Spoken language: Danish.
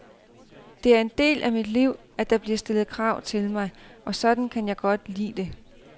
Det er en del af mit liv, at der bliver stillet krav til mig, og sådan kan jeg godt lide det.